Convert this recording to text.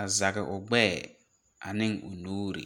a zege o gbɛɛ aneŋ o nuure.